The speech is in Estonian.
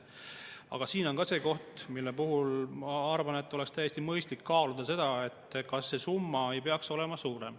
Aga siin on ka see koht, mille puhul ma arvan, et oleks täiesti mõistlik kaaluda, kas see summa ei peaks olema suurem.